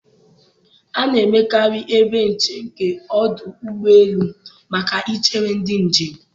A na-emekarị ebe nche nke ọdụ ụgbọ elu maka ị chere ndị njem.